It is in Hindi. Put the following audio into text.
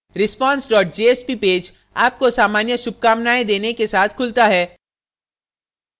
response jsp पेज आपको सामान्य सुभकामनाएँ देने के साथ खुलता है